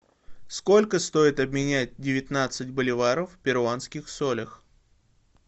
сколько стоит обменять девятнадцать боливаров в перуанских солях